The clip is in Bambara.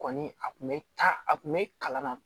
Kɔni a tun bɛ taa a kun bɛ kalan na